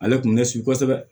Ale tun bɛ ɲɛsin kosɛbɛ